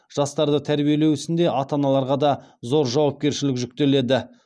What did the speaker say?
жастарды тәрбиелеу ісінде ата аналарға да зор жауапкершілік жүктеледі